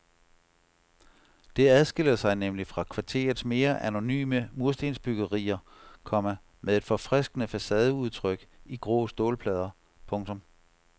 Det adskiller sig nemlig fra kvarterets mere anonyme murstensbyggerier, komma med et forfriskende facadeudtryk i grå stålplader. punktum